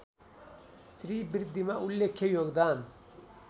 श्रीबृद्धिमा उल्लेख्य योगदान